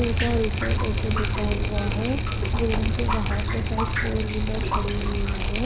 पूजा resort ऐसे लिखा हुआ है बिल्डिंग के बाहर के साइड फोर व्हीलर खड़ी हुयी है ।